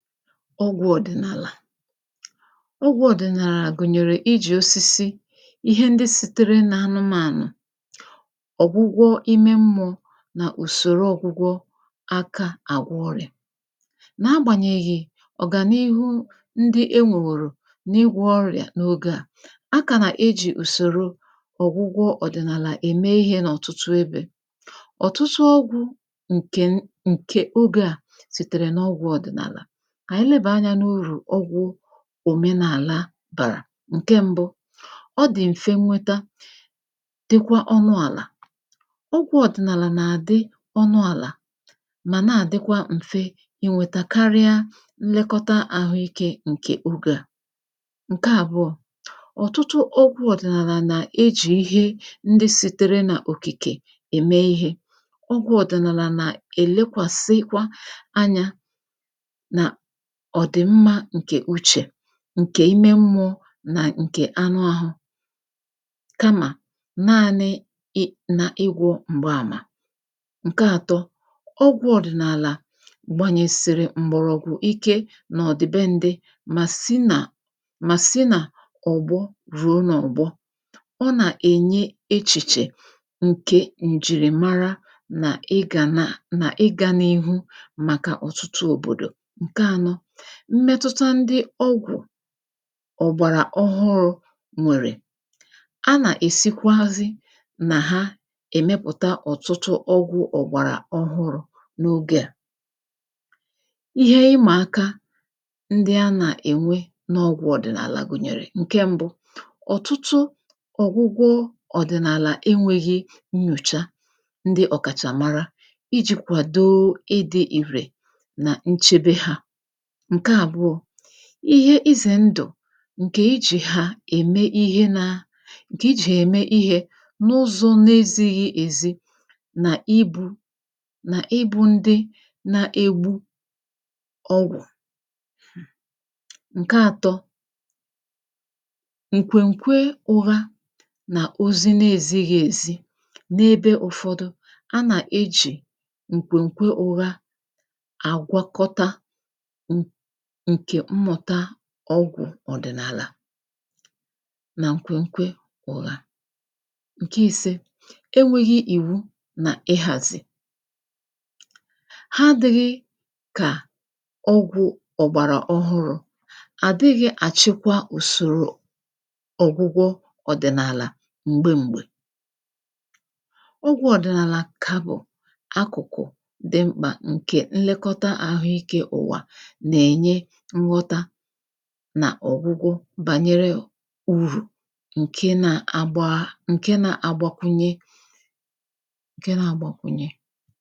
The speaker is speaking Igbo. ọgwụ̄ ọ̀dị̀nàlà ọgwụ̄ ọ̀dị̀nàlà gụ̀nyèrè ijì osisi ihe ndị sitere n’anụmānụ̀ ọ̀gwụgwọ ime mmụọ̄ nà ùsòro ọ̄gwụgwọ aka àgwọ ọrị̀à n’agbànyèghị̀ ọ̀gànihu ndị e nwèwòrò n’ị̇gwọ̄ ọrị̀à n’ogē à a kā nà-ejī ùsòro ọ̀gwụgwọ ọ̀dị̀nàlà ème ihē n’ọ̀tụtụ ebē ọ̀tụtụ ọgwụ̄ ǹkè n ǹkè ogē à sìtèrè n’ọgwụ̄ ọ̀dị̀nàlà ànyị lebèe anyā n’urù ọgwụ̄ òmenàla bàrà, ǹke m̄bụ̄ ọ dị̀ m̀fe nwete dịkwa ọnụ àlà ọgwụ̄ ọ̀dị̀nàlà nà-àdị ọnụ àlà mà na-àdịkwa m̀fe inwētē karịa nlekọta ahụ ikē ǹkè ogē à ǹke àbụọ̄ ọ̀tụtụ ọgwụ̄ ọ̀dị̀nàlà nà-ejì ihe ndị sītere n’òkìkè ème ihē ọgwụ̄ ọ̀dị̀nàlà nà-èlekwàsịkwa anyā n’ọ̀dị̀mmā ǹkè uchè ǹkè ime mmụ̄ọ nà ǹkè anụ āhụ̄ kamà naānị ị n’ịgwọ̄ m̀gbaàmà ǹke ātọ̄; ọgwụ̄ ọ̀dị̀nàlà gbànyèsị̀rị̀ m̀gbọ̀rọ̀gwụ̀ ike n’ọ̀dị̀bendị mà si nà mà si nà ọ̀gbọ rụ̀ọ n’ọ̀gbọ ọ nà-ènye echìchè ǹkè ǹjìrìmara nà igà naà, nà ịgā n’ihu màkà ọ̀tụtụ òbòdò mmetụta ndị ọgwụ̀ ọ̀gbàrà ọhụrụ̄ nwèrè a nà-èsikwazị nà ha èmepụ̀ta ọ̀tụtụ ọgwụ̄ ọ̀gbàrà ọhụrụ̄ n’ogē à ihe ịmà aka ndị a nà-ènwe n’ọgwụ̄ ọ̀dị̀nàlà bụ̀, ǹke m̄bụ̄; ọ̀tụtụ ọ̀gwụgwọ ọ̀dị̀nàlà enwēghi nnyòcha ndị ọ̀kàchà mara ijī kwàdoo ịdị̄ ìrè nà nchebe hā ǹke àbụọ̄ ihe izè ndụ̀ ǹkè ijì hà ème ihe nā ǹkè ijì ème ihē n’ụzọ̀ na-esighī èzi nà ibū nà ịbụ̄ ndị na-egbu ọgwụ̀ ǹke ātọ̄ ǹkwèǹkwe ụha nà ozi na-ezighī èzi n’ebe ụfọdụ, a nà-eji ǹkwèǹkwe ụha àgwọkọta ǹ ǹkè mmụ̀ta ọgwụ̀ ọ̀dị̀nàlà nà nkwenkwe ụha ǹke īsē; e nwēghī ìwu nà ịzàsị̀ ha adị̄ghị kà ọgwụ̄ ọ̀gbàrà ọhụrụ̄ àdịghị̄ àchịkwa ùsòrò ọ̀gwụgwọ ọ̀dị̀nàlà m̀gbe m̀gbè ọgwụ̄ ọ̀dị̀nàlà kà bụ̀ akụ̀kụ̀ dị mkpà màkà ǹkè nlekọta àhụ ikē ụ̀wà nà-ènye nghọta nà ọ̀gwụgwọ bànyere urù ǹke na-agbaa, ǹke nā-agbakwunye ǹke nā-agbakwunye